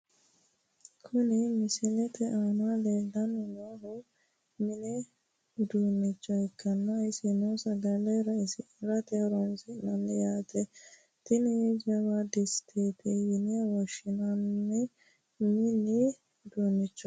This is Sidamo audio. Kuni misilete aana lellanni noohu mini uduunicho ikkanna isino sagale raisirate horonsi'naniho yaate, tini jawa distete yine woshshinani mini uduunichooti.